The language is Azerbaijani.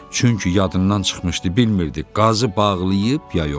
Çünki yadından çıxmışdı, bilmirdi qazı bağlayıb ya yox.